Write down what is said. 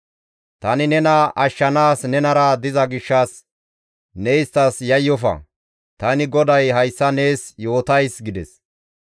Tani nena ashshanaas nenara diza gishshas ne isttas yayyofa; tani GODAY hayssa nees yootays» gides.